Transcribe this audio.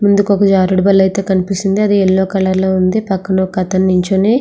జారుడు వల్ల అయితే కనిపిస్తుంది అది ఎల్లో కలర్ లో ఉంది పక్కనే ఒకతను ఉన్నాడు.